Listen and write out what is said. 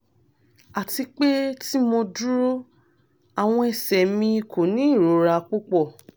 ati pe ti mo duro awọn ẹsẹ mi ko ni irora pupọ